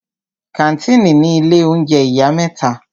Kàńtìnì ni ilé oúnjẹ ìyá mẹ́ta.